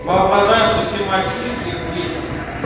воображаю что все мальчишки взбесятся